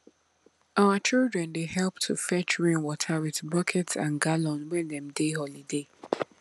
our children dey help to fetch rainwater with bucket and gallon when dem dey holiday